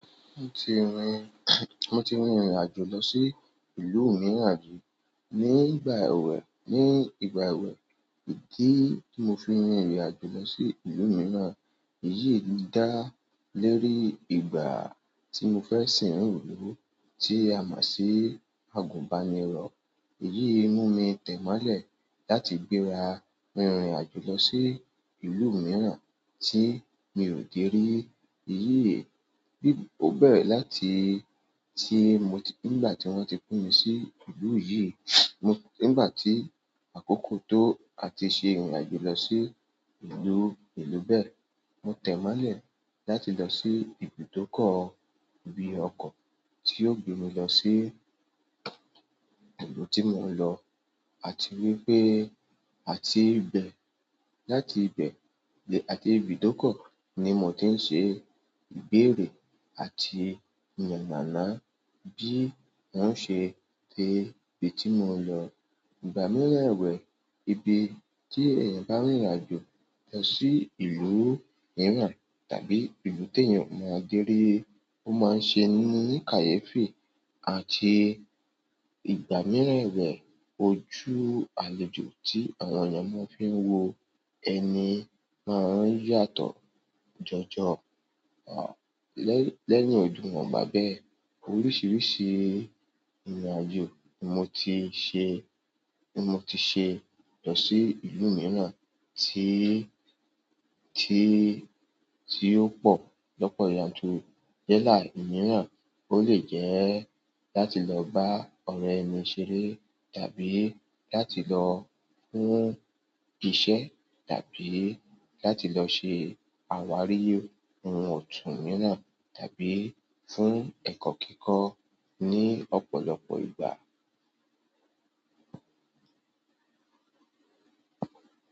Mo ti rin mo ti rin ìrìn àjò lọ sí ìlú mìíràn ní ìgbà èwe, ní ìgbà èwe. Ìdí tí mo fi rin ìrìn àjò lọ sí ìlú mìíràn, iyì dá lérí ìgbà tí mo fẹ́ sìn rìn ìlú tí a mo si àgùnbánirọ̀. Èyí mú mi tẹ́ mọ́lẹ̀ láti gbéra rin ìrìn àjò lọ sí ìlú mìíràn tí mi ò dé rí. Iyì, bí ó bẹ́rẹ̀ láti tí mo ti nígbà tí wọ́n ti pín mi sí ìlú yìí, mo nígbà tí àkókò tó àti ṣe ìrìn àjò lọ sí ìlú, ìlú bẹ́ẹ̀. Mo tẹ́ mọ́lẹ̀ láti lọ sí ibi tó kọ̀ọ̀ bí ọkọ̀ tí yóò gbé mi lọ sí ìlú tí mò ń lọ àti wípé àti ibẹ̀ láti ibẹ̀ lẹ àti ibi tó kọ̀ọ̀ ní mò ń ṣe ìbéèrè àti yànmàná bí wọ́n ṣe té ibi tí mò ń lọ. Ìgbà mìíràn èwé ibi tí ẹ̀yàn bá rin ìrìn àjò lọ sí ìlú mìíràn tàbí ìlú tí èèyàn ò mọ̀ dé rí, ó máa ń ṣe ní kàyéfè àti ìgbà mìíràn èwé ojú àlejò tí àwọn èèyàn máa ń fi wo ẹni máa ń yàtọ̀ jọjọ lẹ́ ní ojú wọn bá bẹ́ẹ̀. Oríṣiríṣi ìrìn àjò mo ti ṣe, mo ti ṣe lọ sí ìlú mìíràn tí, tí, tí ó pọ̀ lọ́pọ̀ yanturu yẹ́ẹ̀lá mìíràn. Ó lè jẹ́ láti lọ bá ọ̀rẹ́ ẹni ṣeré tàbí láti lọ fún iṣẹ́ tàbí láti lọ ṣe àwárí ohun òtún mìíràn tàbí fún ẹ̀kọ́ kíkọ́ ní ọ̀pọ̀lọpọ̀ ìgbà.